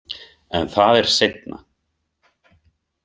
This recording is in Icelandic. En það er seinna.